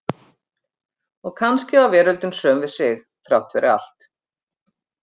Og kannski var veröldin söm við sig, þrátt fyrir allt.